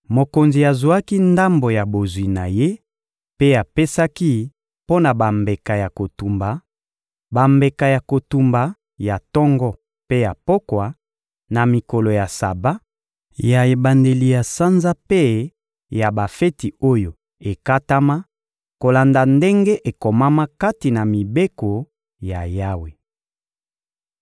Mokonzi azwaki ndambo ya bozwi na ye mpe apesaki mpo na bambeka ya kotumba: bambeka ya kotumba ya tongo mpe ya pokwa, ya mikolo ya Saba, ya ebandeli ya sanza mpe ya bafeti oyo ekatama, kolanda ndenge ekomama kati na mibeko ya Yawe.